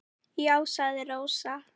Já, sagði Rósa.